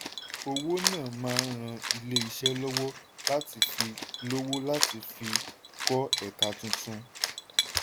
owó náà máa ràn ilé-iṣẹ́ lọ́wọ́ láti fi lọ́wọ́ láti fi kọ́ ẹ̀ka tuntun.